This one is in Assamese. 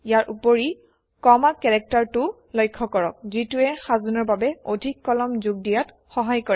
ইয়াৰ উপৰি কমা কেৰেক্টাৰটোও লক্ষ্য কৰক যিটোৱে সাজোনৰ বাবে অধিক কলম যোগ দিয়াত সহায় কৰে